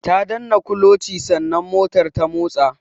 Ta danna kulochi sannan motar ta motsa.